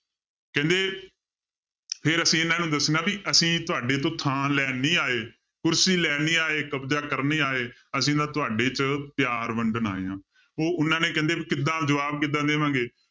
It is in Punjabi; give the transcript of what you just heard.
ਕਹਿੰਦੇ ਫਿਰ ਅਸੀਂ ਇਹਨਾਂ ਨੂੰ ਦੱਸਣਾ ਵੀ ਅਸੀਂ ਤੁਹਾਡੇ ਤੋਂ ਥਾਂ ਲੈਣ ਨੀ ਆਏ, ਕੁਰਸੀ ਲੈਣ ਨੀ ਆਏ, ਕਬਜ਼ਾ ਕਰਨ ਨੀ ਆਏ, ਅਸੀਂ ਨਾ ਤੁਹਾਡੇ 'ਚ ਪਿਆਰ ਵੰਡਣ ਆਏ ਹਾਂ ਉਹ ਉਹਨਾਂ ਨੇ ਕਹਿੰਦੇ ਕਿੱਦਾਂ ਜਵਾਬ ਕਿੱਦਾਂ ਦੇਵਾਂਗੇ